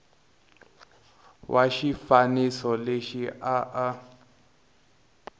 wa xifaniso lexi a a